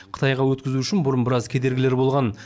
қытайға өткізу үшін бұрын біраз кедергілер болған